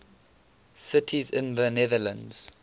cities in the netherlands